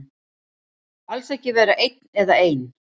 Alls ekki vera einn eða ein.